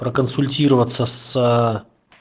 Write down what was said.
проконсультироваться с